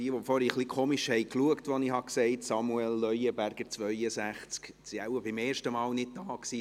Diejenigen, die vorhin etwas komisch geguckt haben, als ich «Samuel Leuenberger, 62» sagte, waren wohl beim ersten Mal nicht da.